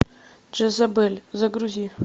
джезабель загрузи